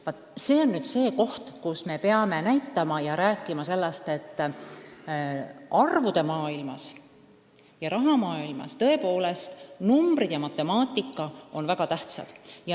Vaat see on nüüd see koht, kus me peame rääkima sellest, et arvude maailmas ja raha maailmas tõepoolest numbrid ja matemaatika on väga tähtsad.